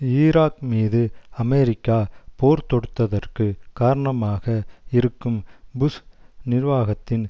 Iraq மீது America போர்த்தொடுத்ததற்கு காரணமாக இருக்கும் புஷ் நிர்வாகத்தின்